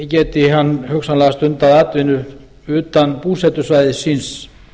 geti hann hugsanlega stundað atvinnu utan búsetusvæðis síns